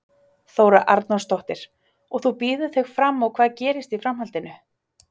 Þóra Arnórsdóttir: Og þú býður þig fram og hvað gerist í framhaldinu?